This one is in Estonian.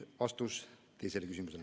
Vastus teisele küsimusele ...